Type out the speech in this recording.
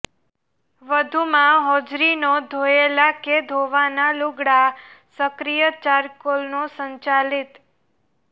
વધુમાં હોજરીનો ધોયેલાં કે ધોવાનાં લૂગડાં સક્રિય ચારકોલનો સંચાલિત